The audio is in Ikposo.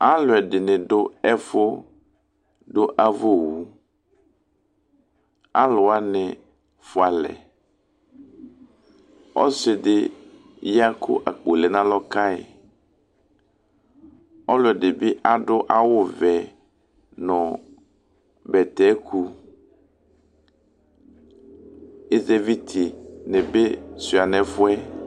Alu ɛdini du ɛfudu avawu aluwani fualɛ ɔsɩdi ya ku akpo lɛna alɔkayi nu alɔ ɔlɔdi bi adu awu vɛ nu bɛtɛku ɛzɛviti ni bi shua nu ɛfuɛ